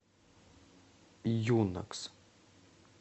юнакс